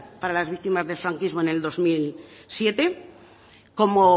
para las víctimas del franquismo en el dos mil siete como